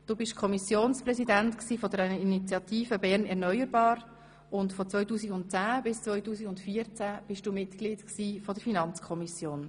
Du warst Kommissionspräsident der Initiative «Bern erneuerbar», und von 2010 bis 2014 warst du Mitglied der FiKo.